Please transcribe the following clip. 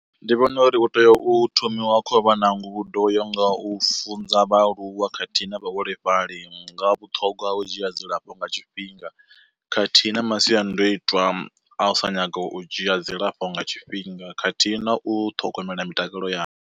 Ndi vhona uri hu tea u thomiwa khou vha na ngudo yo nga ho u funza vhaaluwa khathihi na vhaholefhali nga vhuṱhogwa ha u dzhia dzilafho nga tshifhinga, khathihi na masiandaitwa a u sa nyaga u dzhia dzilafho nga tshifhinga khathihi na u ṱhogomela mitakalo yavho.